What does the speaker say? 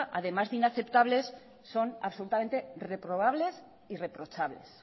además de inaceptables son absolutamente reprobables y reprochables